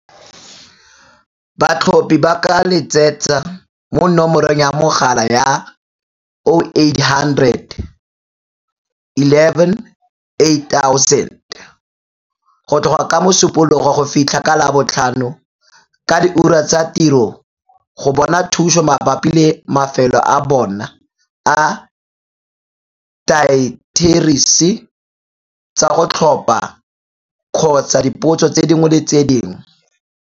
Batlhophi ba ka letsetsa mo nomorong ya mogala ya, 0800 11 8000, go tloga ka Mosupologo go fitlhela ka Labotlhano ka diura tsa tiro go bona thuso mabapi le mafelo a bona a diaterese tsa go tlhopha kgotsa dipotso dingwe le dingwe.